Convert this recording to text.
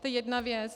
To je jedna věc.